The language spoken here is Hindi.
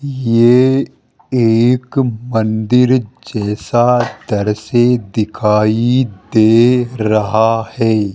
ये एक मंदिर जैसा द्रश्ये दिखाई दे रहा है।